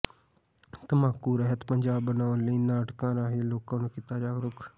ਤੰਬਾਕੂ ਰਹਿਤ ਪੰਜਾਬ ਬਣਾਉਣ ਲਈ ਨਾਟਕਾਂ ਰਾਹੀਂ ਲੋਕਾਂ ਨੂੰ ਕੀਤਾ ਜਾਗਰੂਕ